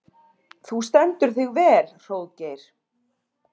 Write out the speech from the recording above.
Þú stendur þig vel, Hróðgeir!